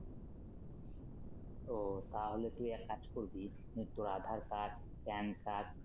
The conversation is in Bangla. ও তাহলে তুই এক কাজ করবি মানে তোর Aadhar card Pan card